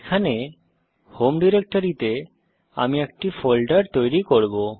এখানে হোম ডিরেক্টরিতে আমি একটি ফোল্ডার তৈরি করব